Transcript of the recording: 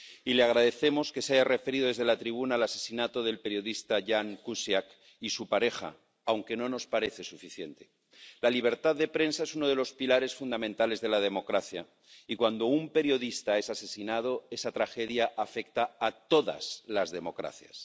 Y le agradecemos que se haya referido desde la tribuna al asesinato del periodista Ján Kuciak y su pareja, aunque no nos parece suficiente. La libertad de prensa es uno de los pilares fundamentales de la democracia y cuando un periodista es asesinado esa tragedia afecta a todas las democracias.